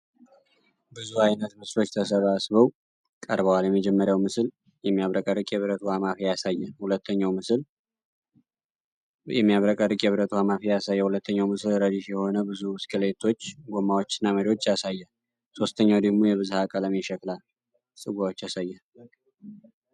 ብዙ አይነት ምስሎች ተሰባስበው ቀርበዋል። የመጀመሪያው ምስል የሚያብረቀርቅ የብረት ውሃ ማፍያ ያሳያል። ሁለተኛው ምስል ረድፍ የሆኑ ብዙ ብስክሌቶች ጎማዎችና መሪዎች ያሳያል። ሦስተኛው ደግሞ የብዝሀ-ቀለም የሸክላ ጽዋዎችን ያሳያል።